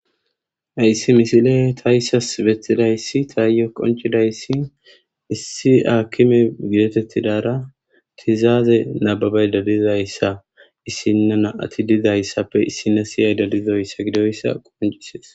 ayssi misile ta yssas bettidayssi taayo qoncidayssi issi aakkime gidetettidara tizaaze nababey dalizayssa issinna na ati dizayssappe issina siyay dalizoyssa gidoyssa quncisees